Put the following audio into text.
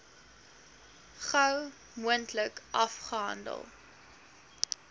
gou moontlik afgehandel